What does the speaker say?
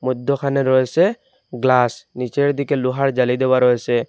মইধ্যখানে রয়েসে গ্লাস নীচের দিকে লোহার জালি দেওয়া রয়েসে।